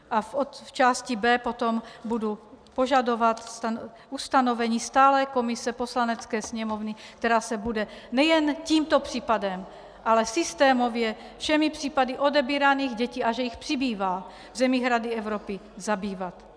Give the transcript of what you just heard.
A v části B potom budu požadovat ustanovení stálé komise Poslanecké sněmovny, která se bude nejen tímto případem, ale systémově všemi případy odebíraných dětí, a že jich přibývá, v zemích Rady Evropy zabývat.